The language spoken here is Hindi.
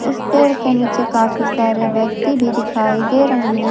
उस पेड़ के नीचे काफी सारे व्यक्ति भी दिखाई दे रहे हैं।